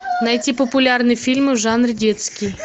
найти популярные фильмы в жанре детский